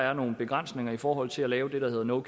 er nogle begrænsninger i forhold til at lave det der hedder no